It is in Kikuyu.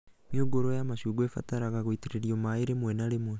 Mĩũngũrwa ya macungwa ya ĩbataraga gũitĩrĩrio maĩ rĩmwe na rĩmwe